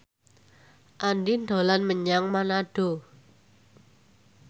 Andien dolan menyang Manado